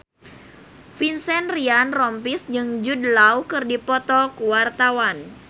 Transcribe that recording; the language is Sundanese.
Vincent Ryan Rompies jeung Jude Law keur dipoto ku wartawan